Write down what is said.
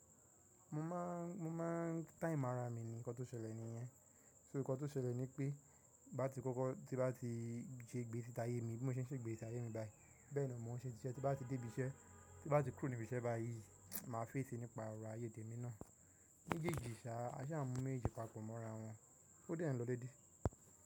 Mo máa, mo máa time ara mi ni, nǹkan tó ṣẹlẹ̀ nìyẹn. So nǹkan tó ṣẹlẹ̀ ni pé bá ti kọ́kọ́ tí bá ti ṣe gbésí táyé mi bí mo ṣe ń ṣe ìgbésí ayé mi báyìí bẹ́ẹ̀ ni mo ń ṣe ti ìṣe, tí bá ti débí iṣẹ́ tí bá ti kúrò níbi iṣẹ́ báyìí máa féèsì nípa ọ̀rọ̀ ayé tèmi náà. Méjèèjì ṣá a ṣáà ń mú méjèèjì papọ̀ mọ́ra wọn ó dẹ̀ ń lọ dédé.